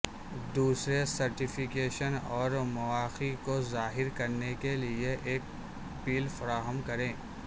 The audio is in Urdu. دوسرے سرٹیفیکیشن اور مواقع کو ظاہر کرنے کے لئے ایک پل فراہم کریں